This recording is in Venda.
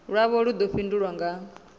lwavho lu ḓo fhindulwa nga